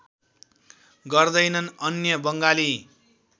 गर्दैनन् अन्य बङ्गाली